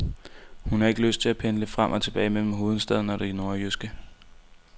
Hun har ikke lyst til at pendle frem og tilbage mellem hovedstaden og det nordjyske.